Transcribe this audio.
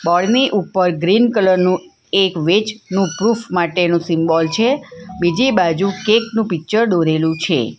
Board ની ઉપર green colour નું એક વેજ નું પ્રુફ માટેનું સિમ્બોલ છે બીજી બાજુ કેક નું પિક્ચર દોરેલું છે.